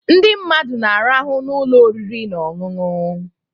Ndị mmadụ na-arahụ n'ụlọ oriri na ọṅụṅụ